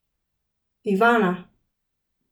Ivana!